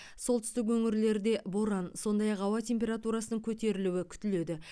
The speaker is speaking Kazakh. солтүстік өңірлерде боран сондай ақ ауа температурасының көтерілуі күтіледі